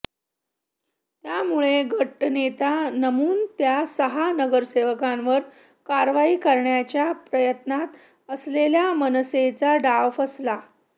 त्यामुळे गटनेता नेमून त्या सहा नगरसेवकांवर कारवाई करण्याच्या प्रयत्नात असलेल्या मनसेचा डाव फसला